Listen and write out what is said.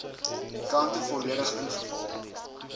kante volledig ingevul